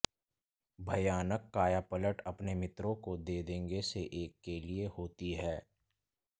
भयानक कायापलट अपने मित्रों को दे देंगे से एक के लिए होती हैं